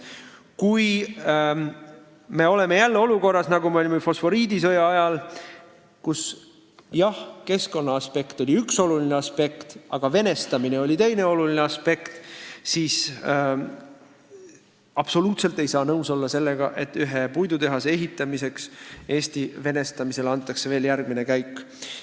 Kui me oleme jälle olukorras, nagu me olime fosforiidisõja ajal, kus, jah, keskkond oli üks oluline aspekt, aga venestamine oli teine oluline aspekt, siis ei saa absoluutselt nõus olla sellega, et ühe puidutehase ehitamise jaoks tehakse Eesti venestamisel järgmine käik.